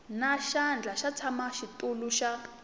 na xandla xa mutshamaxitulu wa